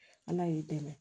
Ala y'i dɛmɛ